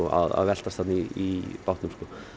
að veltast þarna í bátnum